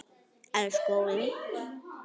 Elsku Óli.